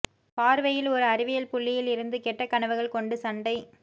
பார்வையில் ஒரு அறிவியல் புள்ளியில் இருந்து கெட்ட கனவுகள் கொண்டு சண்டை